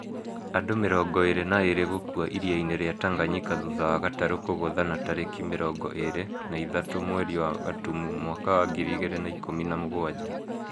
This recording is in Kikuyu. Andũ mĩrongo ĩrĩ na ĩrĩ gũkũa iria-inĩ rĩa Tanganyika thũtha wa gatarũ kũgũthana tarĩki mĩrongo ĩrĩ na ithatũ mweri wa gatumu mwaka wa ngiri igĩrĩ na ikũmi na Mũgwanja